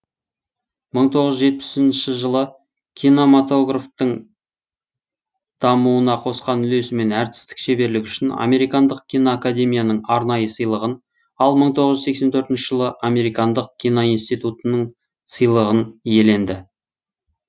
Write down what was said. мың тоғыз жүз жетпісінші жылы кинематографтың дамуына қосқан үлесі мен әртістік шеберлігі үшін американдық киноакадемияның арнайы сыйлығын ал мың тоғыз жүз сексен төртінші жылы американдық киноинститутының сыйлығын иеленді